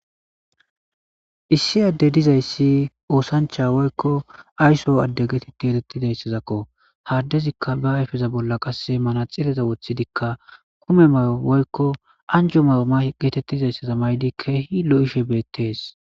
issi adde dizayssi oosancha woykko ayso adde getite elettidayssazakko haaddezikka ba ayfeza bolla qasse mana xileza woththidikka kume mayo woykko anjo mawuma geetettizayssaza maydi keehi lo7ishe beettees